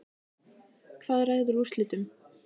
Hvað ræður úrslitum?